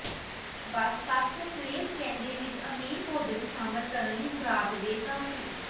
ਬਸ ਤੱਤ ਟਰੇਸ ਕਹਿੰਦੇ ਵਿੱਚ ਅਮੀਰ ਭੋਜਨ ਨੂੰ ਸ਼ਾਮਲ ਕਰਨ ਲਈ ਖੁਰਾਕ ਦੇ ਕਾਫ਼ੀ